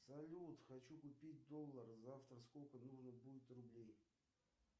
салют хочу купить доллар завтра сколько нужно будет рублей